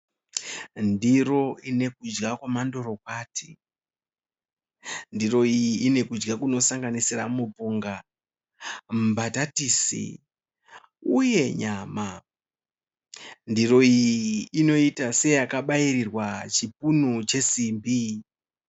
Ndiro ine kudya kwamandorokwati. Ndiro iyi inekudya kunosanganisira mupunga, mbatatisi uye nyama. Ndiro iyi inoita seyakabayirirwa chipunu chesimbi.